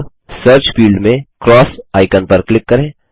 अब search field में cross icon पर क्लिक करें